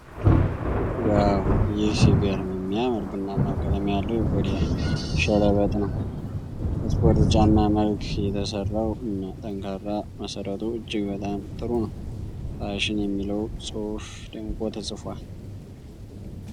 ዋው! ይህ ሲገርም የሚያምር ቡናማ ቀለም ያለው የቆዳ ሸለበጥ ነው። በስፖርት ጫማ መልክ የተሰራው እና ጠንካራ መሠረቱ እጅግ በጣም ጥሩ ነው። "ፋሽን" የሚለው ጽሑፍ ደምቆ ተጽፏል።